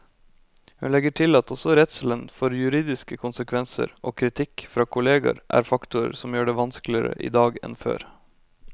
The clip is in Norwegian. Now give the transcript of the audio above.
Hun legger til at også redselen for juridiske konsekvenser og kritikk fra kolleger er faktorer som gjør det vanskeligere i dag enn før.